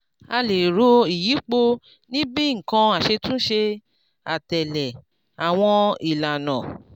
a lè ro ìyípo ní bíi nǹkan aṣetúnṣe àtèlè awon ìlànà